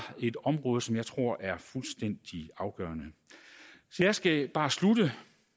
et område som jeg tror er fuldstændig afgørende så jeg skal bare slutte